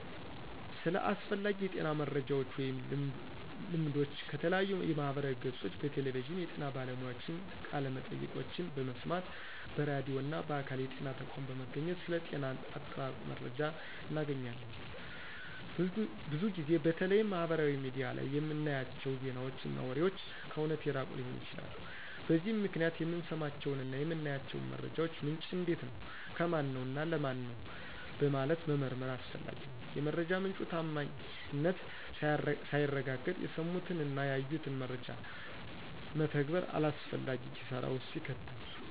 ስለ አስፈላጊ የጤና መረጃወች ወይም ልምዶች ከተለያዩ የማህበራዊ ገፆች፣ በቴሌቪዥን የጤና ባለሙያዎችን ቃለመጠይቆችን በመስማት፣ በራድዩ እና በአካል የጤና ተቋም በመገኘት ስለ ጤና አጠባበቅ መረጃ እናገኛለን። ብዙ ጊዜ በተለይም ማህበራዊ ሚዲያ ላይ የምናያቸው ዜናወች እና ወሬወች ከእውነት የራቁ ሊሆኑ ይችላሉ። በዚህም ምክንያት የምንሰማቸውን እና የምናያቸውን መረጃወች ምንጭ እንዴት ነው፣ ከማነው፣ እና ለማን ነው በማለት መመርመር አስፈላጊ ነው። የመረጃ ምንጩ ታማኝነት ሳይረጋገጥ የሰሙትን እና ያዩትን መረጃ መተግበር አላስፈላጊ ኪሳራ ውስጥ ይከታል።